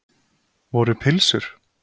Voru pylsur?